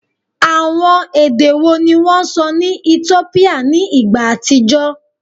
Awọn ede wo ni wọn sọ ni Etiopia ni igba atijọ?